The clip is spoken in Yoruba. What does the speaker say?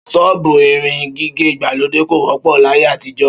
Ṣọ́ọ̀bù irun gígẹ̀ ìgbàlódé kò wọ́pọ̀ láyé àtijọ́